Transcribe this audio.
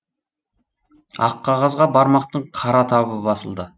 ақ қағазға бармақтың қара табы басылды